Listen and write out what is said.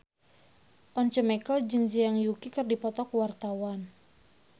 Once Mekel jeung Zhang Yuqi keur dipoto ku wartawan